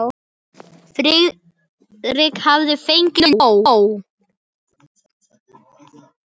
Þeir skáluðu fyrir skjótum sigri.